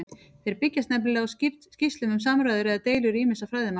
Þeir byggjast nefnilega á skýrslum um samræður eða deilur ýmissa fræðimanna.